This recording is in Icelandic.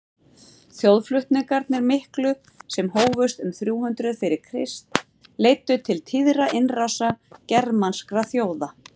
þjóðflutningarnir miklu sem hófust um þrjú hundruð fyrir krist leiddu til tíðra innrása germanskra þjóða